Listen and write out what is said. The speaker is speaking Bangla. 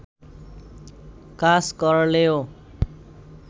কাজ করলেও